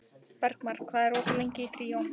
Bergmar, hvað er opið lengi í Tríó?